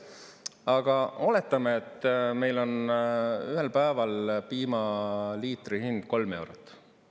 Aga oletame, et meil on ühel päeval piimaliitri hind kolm eurot.